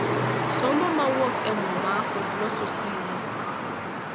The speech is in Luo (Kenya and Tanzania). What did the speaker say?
Somo ma wuok e Muma, kod loso singo.